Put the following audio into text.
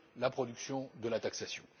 la production de la taxation.